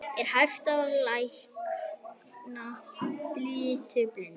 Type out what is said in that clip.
Er hægt að lækna litblindu?